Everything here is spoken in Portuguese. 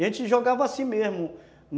E a gente jogava assim mesmo.